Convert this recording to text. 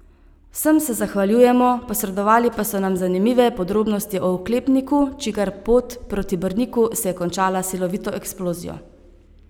Vsem se zahvaljujemo, posredovali pa so nam zanimive podrobnosti o oklepniku, čigar pot proti Brniku se je končala s silovito eksplozijo.